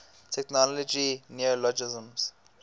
technology neologisms